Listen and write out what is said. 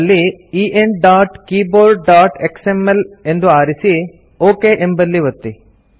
ಅಲ್ಲಿ enkeyboardಎಕ್ಸ್ಎಂಎಲ್ ಎಂದು ಆರಿಸಿ ಒಕ್ ಎಂಬಲ್ಲಿ ಒತ್ತಿ